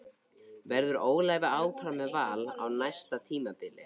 Verður Óli áfram með Val á næsta tímabili?